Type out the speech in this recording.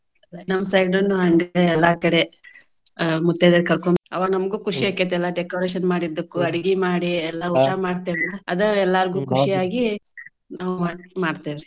ನಮ್ಮ side ನು ಹಂಗೆ ಎಲ್ಲಾ ಕಡೆ ಆಹ್ ಮುತೈದೆಯರ ಕರ್ಕೊಂದ್ ಅವಾಗ ನಮ್ಗು ಆಕ್ಕೇತಿ ಎಲ್ಲಾ decoration ಮಾಡಿದ್ದಕ್ಕು ಮಾಡಿ ಎಲ್ಲಾ ಊಟಾ ಮಾಡ್ತೇವ್ಲಾ ಅದ ಎಲ್ಲಾರ್ಗು ಖುಷಿ ಆಗಿ ನಾವು ಮಾಡ್ತೇವ್ರಿ.